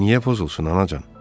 Niyə pozulsun anacan?